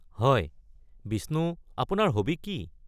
হয়, বিষ্ণু আপোনাৰ হবি কি?